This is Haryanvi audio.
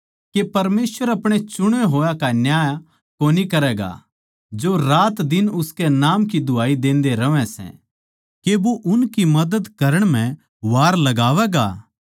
के परमेसवर अपणे छाँटे होया का न्याय कोनी करैगा जो दिनरात उसके नाम की दुहाई देंदे रहवैं सै के वो उनकी मदद करण म्ह वार लगावैगा